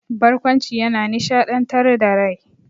Barƙwanci yana nishaɗantar da rai.